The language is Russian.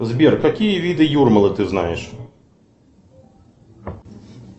сбер какие виды юрмалы ты знаешь